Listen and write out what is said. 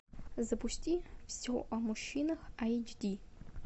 запусти все о мужчинах эйч ди